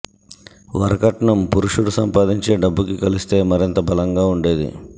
వర కట్నం పురుషుడు సంపాదించే డబ్బుకి కలిస్తే మరింత బలంగా ఉండేది